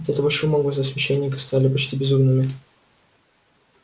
от этого шума глаза священника стали почти безумными